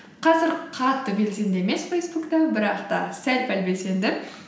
қазір қатты белсенді емес фейсбукта бірақ та сәл пәл белсенді